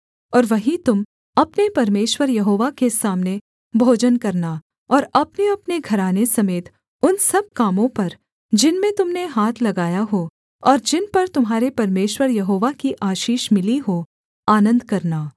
और वहीं तुम अपने परमेश्वर यहोवा के सामने भोजन करना और अपनेअपने घराने समेत उन सब कामों पर जिनमें तुम ने हाथ लगाया हो और जिन पर तुम्हारे परमेश्वर यहोवा की आशीष मिली हो आनन्द करना